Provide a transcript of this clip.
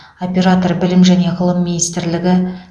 оператор білім және ғылым министрлігі